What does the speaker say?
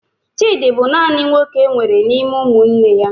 Chidi bụ naanị nwoke enwere n'ime ụmụnne ya.